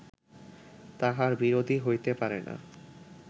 তাঁহার বিরোধী হইতে পারে না